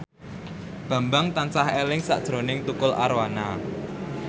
Bambang tansah eling sakjroning Tukul Arwana